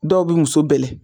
Dɔw bɛ muso bɛlɛn